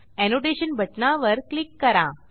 annotation बटणावर click करा